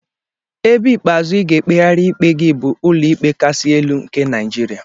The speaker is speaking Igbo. Ebe ikpeazụ ị ga-ekpegharị ikpe gị bụ Ụlọikpe Kasị Elu nke Naijiria.